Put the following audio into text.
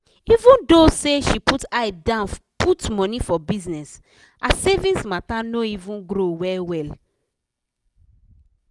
even tho say she put eye dan put money for bizness her savings matter no even grow well-well.